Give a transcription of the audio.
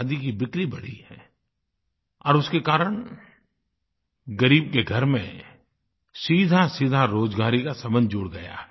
खादी की बिक्री बढ़ी है और उसके कारण ग़रीब के घर में सीधासीधा रोज़गारी का संबंध जुड़ गया है